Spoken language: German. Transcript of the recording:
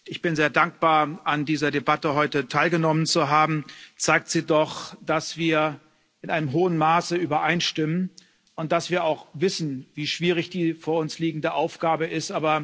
Ich bin sehr dankbar, an dieser Debatte heute teilgenommen zu haben, zeigt sie doch, dass wir in einem hohen Maße übereinstimmen und dass wir auch wissen, wie schwierig die vor uns liegende Aufgabe ist.